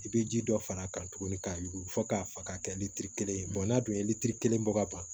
I bɛ ji dɔ far'a kan tuguni k'a yuguyugu fo k'a faga ka kɛ litiri kelen ye n'a dun ye litiri kelen bɔ ka ban